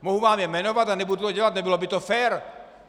Mohu vám je jmenovat, ale nebudu to dělat, nebylo by to fér.